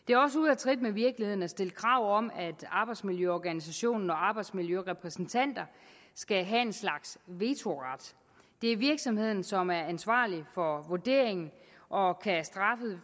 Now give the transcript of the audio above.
af trit med virkeligheden at stille krav om at arbejdsmiljøorganisationen og arbejdsmiljørepræsentanterne skal have en slags vetoret det er virksomheden som er ansvarlig for vurderingen og